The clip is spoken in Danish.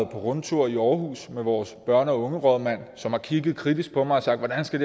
på rundtur i aarhus med vores børne og unge rådmand som har kigget kritisk på mig og sagt hvordan skal